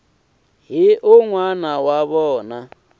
na un wana wa vona